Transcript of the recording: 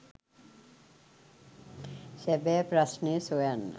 සැබෑ ප්‍රශ්නය සොයන්න